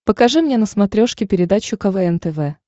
покажи мне на смотрешке передачу квн тв